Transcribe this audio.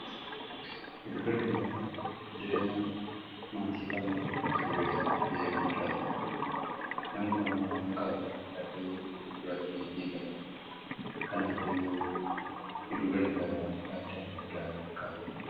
Giddugalli gabaa jireenya maatii kamuu keessatti ga'ee guddaati namni kamuu waan qabu hidhatee gurguratee ni gala kanaafiyyuu giddugalli gabaa faayidaa guddaa qaba.